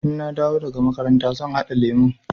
Idan na dawo daga makaranta zan haɗa lemun.